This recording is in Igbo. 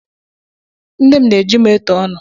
Nne na ejim eto ọnụ.